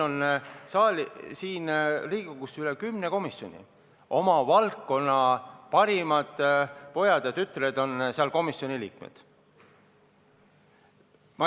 Riigikogus on üle kümne komisjoni, oma valdkonna parimad pojad ja tütred on nende komisjonide liikmed.